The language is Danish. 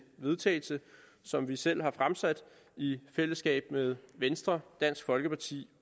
vedtagelse som vi selv har fremsat i fællesskab med venstre dansk folkeparti